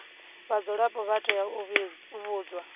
vhadzulapo vha tea u vhudzwa